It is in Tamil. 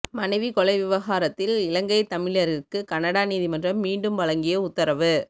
மனைவி கொலை விவகாரத்தில் இலங்கைத் தமிழரிற்கு கனடா நீதிமன்றம் மீண்டும் வழங்கிய உத்தரவு